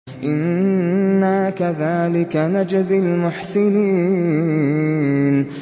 إِنَّا كَذَٰلِكَ نَجْزِي الْمُحْسِنِينَ